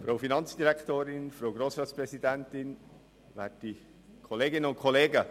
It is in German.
Kommissionssprecher der FiKo-Minderheit.